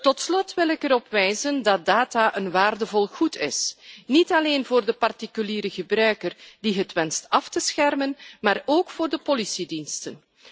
Tot slot wil ik erop wijzen dat gegevens een waardevol goed zijn, niet alleen voor de particuliere gebruiker die ze wenst af te schermen, maar ook voor de politiediensten.